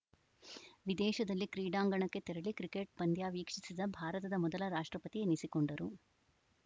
ವಿದೇಶದಲ್ಲಿ ಕ್ರೀಡಾಂಗಣಕ್ಕೆ ತೆರಳಿ ಕ್ರಿಕೆಟ್‌ ಪಂದ್ಯ ವೀಕ್ಷಿಸಿದ ಭಾರತದ ಮೊದಲ ರಾಷ್ಟ್ರಪತಿ ಎನಿಸಿಕೊಂಡರು